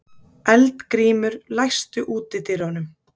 Eldgrímur, læstu útidyrunum.